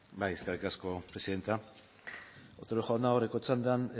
bai eskerrik asko presidenta otero jauna aurreko txandan